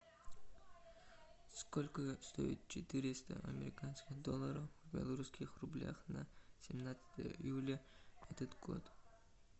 сколько стоит четыреста американских долларов в белорусских рублях на семнадцатое июля этот год